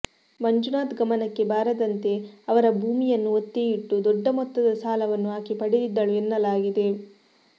ಮಂಜುನಾಥ್ ಗಮನಕ್ಕೆ ಬಾರದಂತೆ ಅವರ ಭೂಮಿಯನ್ನು ಒತ್ತೆಯಿಟ್ಟು ದೊಡ್ಡ ಮೊತ್ತದ ಸಾಲವನ್ನು ಆಕೆ ಪಡೆದಿದ್ದಳು ಎನ್ನಲಾಗಿದೆ